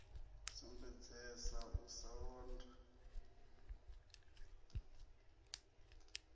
a sumbedzesa u sa londa